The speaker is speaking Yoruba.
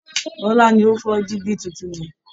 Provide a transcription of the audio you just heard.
Bọ́lá ni ó fọ dígí tuntun yẹn